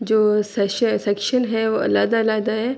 جو سک سیکشن ہے وو علیدہ-علیدہ ہے۔